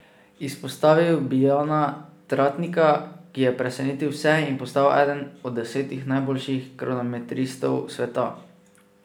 Izpostavil bi Jana Tratnika, ki je presenetil vse in postal eden od desetih najboljših kronometristov sveta.